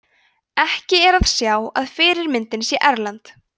ekki er að sjá að fyrirmyndin sé erlend